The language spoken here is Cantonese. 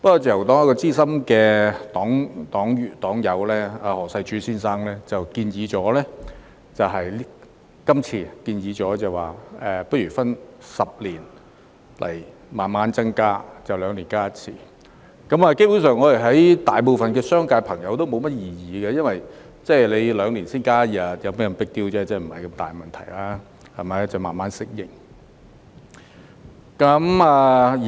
自由黨資深黨友何世柱先生建議分10年逐步增加假期，即每兩年增加一天，商界朋友對此基本上無甚異議，因為每兩年才增加一天假期，不算是 big deal， 沒有太大問題，可以慢慢適應。